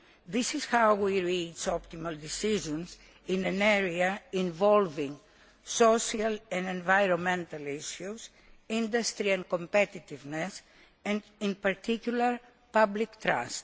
This is how we reach optimal decisions in an area involving social and environmental issues, industrial competitiveness and, in particular, public trust.